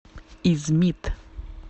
измит